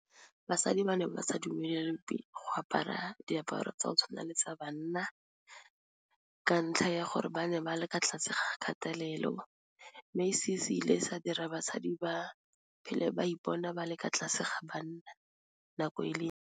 Basadi ba ne ba ba sa dumelelwe pele go apara diaparo tsa go tshwana le sa banna ka ntlha ya gore ba ne ba le kwa tlase ga kgatelelo, mme se se ile sa dira basadi ba phele ba ipona ba le kwa tlase ga banna nako e .